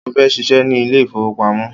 Mo fẹ́ ṣíṣe ní ilé ìfowópamọ́.